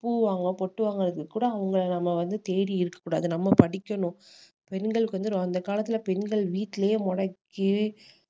பூ வாங்குவேன் பொட்டு வாங்குறதுக்கு கூட அவங்கள நம்ம வந்து தேடி இருக்க கூடாது நம்ம படிக்கணும் பெண்களுக்கு வந்து அந்த காலத்துல பெண்கள் வீட்லயே முடக்கி